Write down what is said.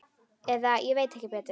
Eða ég veit ekki betur.